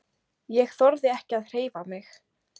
Ég þorði ekki að hreyfa mig.